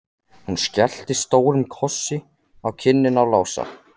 Hún skellti stórum kossi á kinnina á Lása.